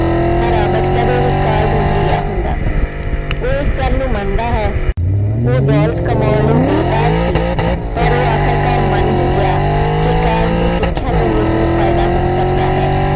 ਤਾਂ ਰਾਬਟ ਕਦੇ ਵੀ college ਨਹੀਂ ਗਿਆ ਹੁੰਦਾ ਉਹ ਇਸ ਗੱਲ ਨੂੰ ਮੰਨਦਾ ਹੈ, ਉਹ ਦੌਲਤ ਕਮਾਉਣ ਲਈ ਬੇਤਾਬ ਸੀ ਪਰ ਉਹ ਆਖਰਕਾਰ ਮੰਨ ਹੀ ਗਿਆ ਕਿ college ਦੀ ਸਿੱਖਿਆ ਤੋਂ ਉਸਨੂੰ ਫ਼ਾਇਦਾ ਹੋ ਸਕਦਾ ਹੈ।